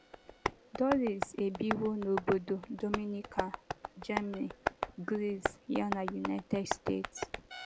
Doris ebiwo n'obodo Dominican, Germany, Gris ya na United steeti.